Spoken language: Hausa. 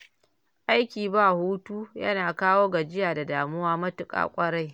Aiki ba hutu yana kawo gajiya da damuwa matuƙa ƙwarai